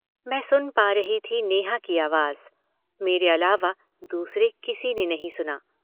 मैं सुन पा रही थी नेहा की आवाज, मेरे अलावा दूसरे किसी ने नहीं सुना।